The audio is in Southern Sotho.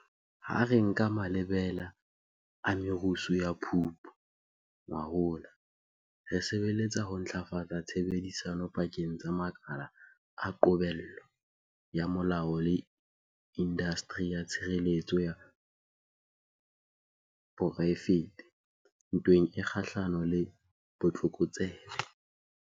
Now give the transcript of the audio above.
Ha re nka malebela a merusu ya Phupu ngwahola, re sebeletsa ho ntlafatsa tshebedisano pakeng tsa makala a qobello ya molao le indasteri ya tshireletso ya poraefete ntweng e kgahlanong le botlokotsebe.